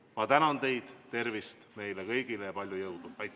Ma tänan teid, tervist meile kõigile ja palju jõudu!